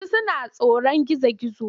Wasu suna tsoron gizo-gizo.